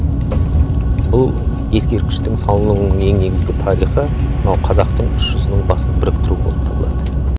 бұл ескерткіштің салынуының ең негізгі тарихы мынау қазақтың үш жүзінің басын біріктіру болып табылады